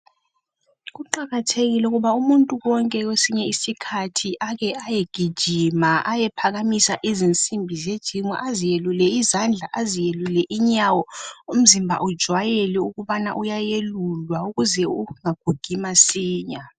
Kuqakathekile ukuba umuntu wonke kwesinye isikhathi ake ayegijima, ayephakamisa izinsimbi zegym, aziyelule izandla, aziyelule inyawo umzimba ujwayele ukubana uyayelulwa ukuze ungagugi masinya